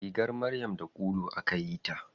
Rigar maryam da ulu akayi ta.